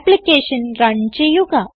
application run ചെയ്യുക